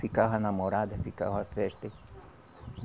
Ficava namorada, ficava festa.